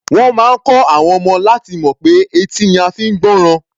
Wọ́n máa kọ́ àwọn ọmọ náà láti mọ̀ pé etí ni a fi ń gbọ́ràn.